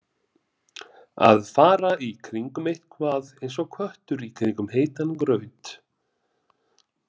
Að fara í kringum eitthvað eins og köttur í kringum heitan graut